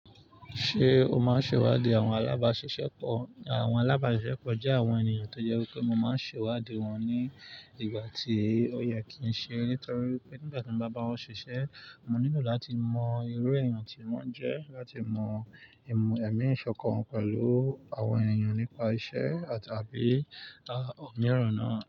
Ṣé o máa ń ṣèwádìí àwọn alábáṣiṣẹ́ pọ̀? Àwọn alábáṣiṣẹ́ pọ̀ jẹ́ àwọn ènìyàn tó jẹ́ wi pé mo máa ń ṣèwádìí wọn ní ìgbà tí òye kì ń ṣe, nítorí pé nígbà tí mo bá bá wọn ṣiṣẹ́, mo nílò láti mọ irú èèyàn tí wọ́n jẹ́, láti mọ ìmọ̀ ẹ̀mí ìṣọ̀kan pẹ̀lú àwọn ènìyàn nípa iṣẹ́ àtàbí àh, òmíràn náà.